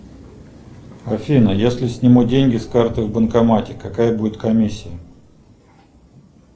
афина если сниму деньги с карты в банкомате какая будет комиссия